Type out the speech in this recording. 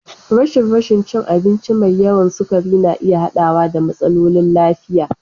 Rashin rashin cin abinci mai yawan sukari na iya haɗawa da matsalolin lafiya.